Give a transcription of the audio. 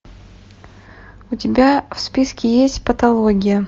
у тебя в списке есть патология